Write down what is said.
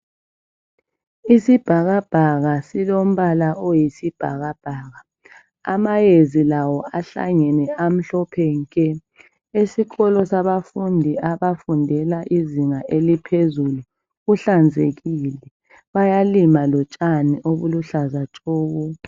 Isibhakabhaka silombala oyisibhakabhaka. Amayezi lawo ahlangene amhlophe nke. Esikolo sabafundi abafundela izinga eliphezulu kuhlanzekile. Bayalima lotshani obuluhlaza tshoko.